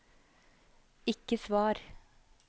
ikke svar